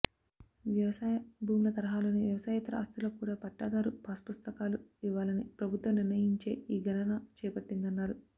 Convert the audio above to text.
వ్యవసాయ భూముల తరహాలోనే వ్యవసాయేతర ఆస్తులకు కూడా పట్టాదారు పాస్పుస్తకాలు ఇవ్వాలని ప్రభుత్వం నిర్ణయించే ఈ గణన చేపట్టిందన్నారు